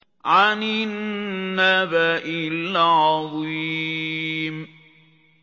عَنِ النَّبَإِ الْعَظِيمِ